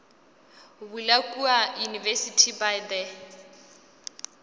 bula kua university by the